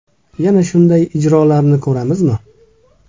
Yana shunday ijrolarni ko‘ramizmi?